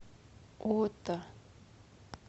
ота